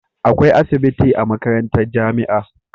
Akwai asibitin a makarantar jamia